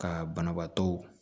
Ka banabaatɔ